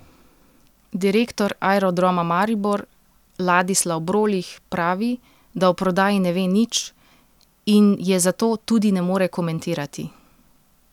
Direktor Aerodroma Maribor Ladislav Brolih pravi, da o prodaji ne ve nič in je zato tudi ne more komentirati.